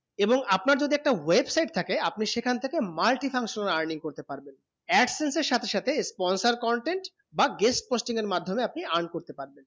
এবং আপনার যদি একটা website থাকে আপনি সেখান থেকে multi function earning করতে পারবেন absence এ সাথে সাথে sponsor content বা guest posting এর মাধ্যমেই আপনি earn করতে পারবেন